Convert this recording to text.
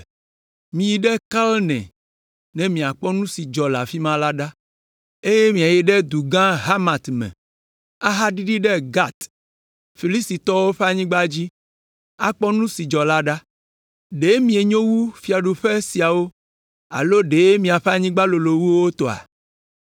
Miyi ɖe Kalne ne miakpɔ nu si dzɔ le afi ma la ɖa; eye miayi ɖe du gã Hamat me, ahaɖiɖi ɖe Gat, Filistitɔwo ƒe anyigba dzi, akpɔ nu si dzɔ la ɖa. Ɖe mienyo wu fiaɖuƒe siawo alo ɖe miaƒe anyigba lolo wu wo tɔa?